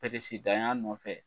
ya nɔfɛ.